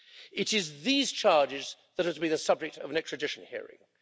It is these charges that are to be the subject of an extradition hearing.